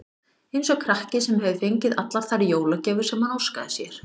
Eins og krakki, sem hefur fengið allar þær jólagjafir sem hann óskaði sér.